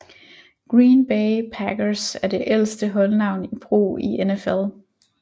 Green Bay Packers er det ældste holdnavn i brug i NFL